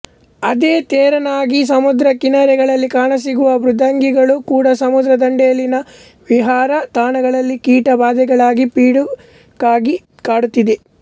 ಅದೇ ತೆರನಾಗಿ ಸಮುದ್ರ ಕಿನಾರೆಗಳಲ್ಲಿ ಕಾಣಸಿಗುವ ಮೃದ್ವಂಗಿಗಳು ಕೂಡ ಸಮುದ್ರ ದಂಡೆಯಲ್ಲಿನ ವಿಹಾರ ತಾಣಗಳಲ್ಲಿ ಕೀಟಬಾಧೆಗಳಾಗಿ ಪಿಡುಗಾಗಿಕಾಡುತ್ತಿವೆ